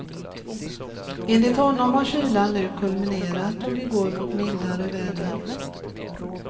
Enligt honom har kylan nu kulminerat och vi går mot mildare väder.